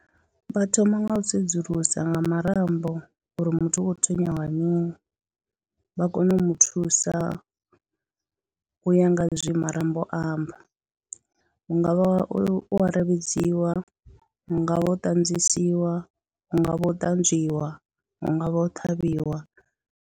Vha thoma nga u sedzulusa nga marambo uri muthu u khou tswenyiwa nga mini, vha kone u mu thusa u ya nga zwe marambo amba, hu nga vha u aravhedziwa, hu nga vha u ṱadzisiwa, hu nga vha u ṱanzwiwa, hu nga vha u ṱhavhiwa.